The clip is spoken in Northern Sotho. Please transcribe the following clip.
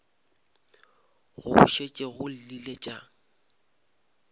go šetše go llile tša